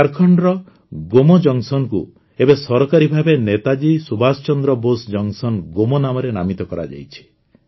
ଝାଡ଼ଖଣ୍ଡର ଗୋମୋ ଜଙ୍କସନ୍ ଏବେ ସରକାରୀ ଭାବେ ନେତାଜୀ ସୁଭାଷ ଚନ୍ଦ୍ର ବୋଷ ଜଙ୍କସନ୍ ଗୋମୋ ନାମରେ ନାମିତ କରାଯାଇଛି